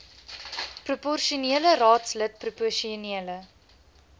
proposionele raadslid proposionele